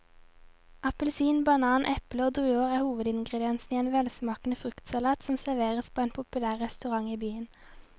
Appelsin, banan, eple og druer er hovedingredienser i en velsmakende fruktsalat som serveres på en populær restaurant i byen.